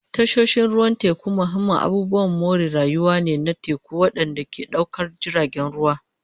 Tashoshin ruwan teku mahimman abubuwan more rayuwa ne na teku waɗanda ke ɗaukar jiragen ruwa.